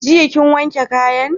Jiya kin wanke kayan?